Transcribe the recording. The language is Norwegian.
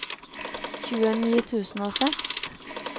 tjueni tusen og seks